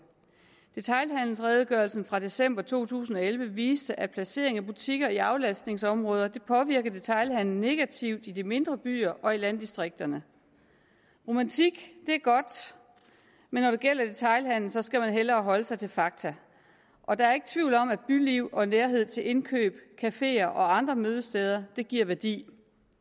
detailhandelsredegørelsen fra december to tusind og elleve viste at placeringen af butikker i aflastningsområder påvirker detailhandelen negativt i de mindre byer og i landdistrikterne romantik det er godt men når det gælder detailhandelen skal man hellere holde sig til fakta og der er ikke tvivl om at byliv og nærhed til indkøb cafeer og andre mødesteder giver værdi